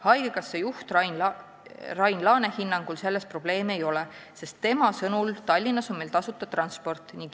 Haigekassa juhi Rain Laane hinnangul selles probleemi ei ole, sest tema sõnul: "Tallinnas on meil tasuta transport.